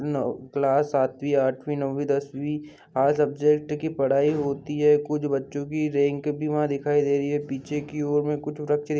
Class आठवी नवी दसवीं सब्जेक्ट की पढ़ाई होती है कुछ बच्चों की रेंक भी दिखाई दे रही है पीछे की ओर में वृक्ष दिखाई दे रहे हैं।